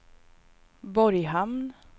Borghamn